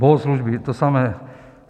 Bohoslužby to samé.